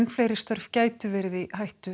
fleiri störf gætu verið í hættu